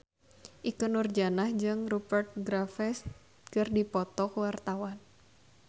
Ikke Nurjanah jeung Rupert Graves keur dipoto ku wartawan